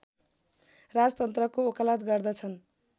राजतन्त्रको वकालत गर्दछन्